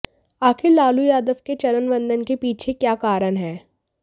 आखिर लालू यादव के चरण वंदन के पीछे क्या कारण है